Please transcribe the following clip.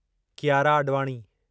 Kiara Advani